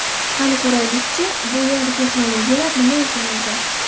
Qani ko‘raylik-chi, bu yangi texnologiyalar nima ekan o‘zi?